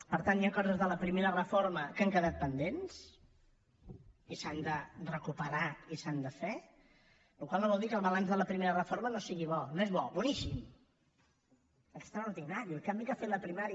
per tant hi han coses de la primera reforma que han quedat pendents i s’han de recuperar i s’han de fer la qual cosa no vol dir que el balanç de la primera reforma no sigui bo no és bo boníssim extraordinari el canvi que ha fet la primària